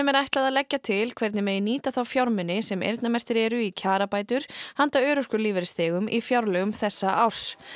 er ætlað að leggja til hvernig megi nýta þá fjármuni sem eyrnamerktir eru í kjarabætur handa örorkulífeyrisþegum í fjárlögum þessa árs